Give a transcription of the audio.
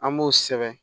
An b'o sɛbɛn